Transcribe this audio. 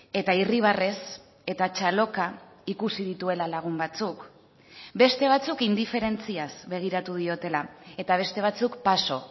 eta irribarrez eta txaloka ikusi dituela lagun batzuk beste batzuk indiferentziaz begiratu diotela eta beste batzuk paso